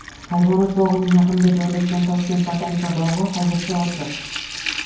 Hayvonot bog‘ining yaqinida joylashgan Toshkent botanika bog‘i hozircha ochiq .